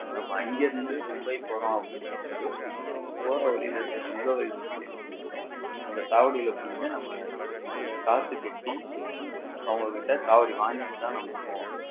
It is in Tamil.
நம்ம இங்க இருந்து மும்பை போறோம்னா வந்து போற வழில இருக்கிற சுங்க வரி சாலைல போய் நின்னு அந்த சாவடில நம்ம காசு கட்டி அவங்ககிட்ட சாவடி வாங்கிட்டு தான நம்ம போகணும்